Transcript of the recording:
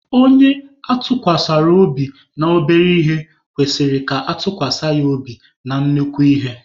Onye atụkwasara obi na obere ihe kwesịrị ka atụkwasa ya obi na nnukwu ihe.